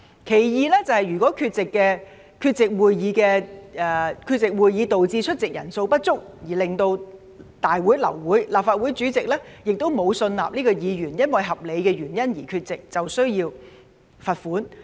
其二，如果議員缺席會議導致出席人數不足，令大會流會，而立法會主席也沒有信納這名議員因合理原因缺席，便需要罰款。